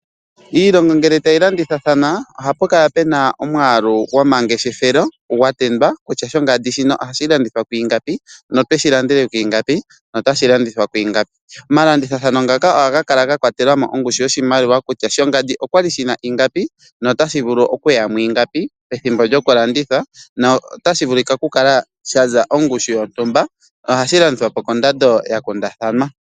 Iilongo ngele tayi landithathana, ohapu kala puna omwaalu gwomangeshefelo wa tendwa kutya shontumba shono ohashi landithwa ku ingapi, na okweshilandele kwiingapi. Omalanditho ngoka ohaga kala kwatela mo ongushu yoshimaliwa kutya oshinima shontumba okwali shina ingapi na otashi vulu okuya mwiingapi, pethimbo lyokulanditha na otashi vulu okukala shaza ondando yontumba na ohashi landithwapo kondando ya kundathanwa.